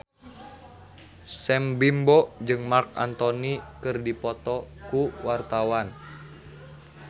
Sam Bimbo jeung Marc Anthony keur dipoto ku wartawan